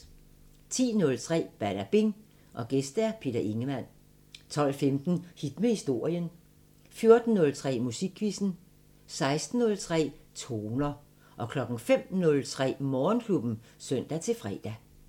10:03: Badabing: Gæst Peter Ingemann 12:15: Hit med historien 14:03: Musikquizzen 16:03: Toner 05:03: Morgenklubben (søn-fre)